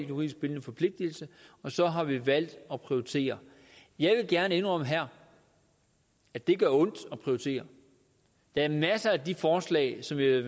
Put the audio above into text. juridisk bindende forpligtelse og så har vi valgt at prioritere jeg vil gerne indrømme her at det gør ondt at prioritere der er masser af de forslag som vi